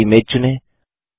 दूसरी इमेज चुनें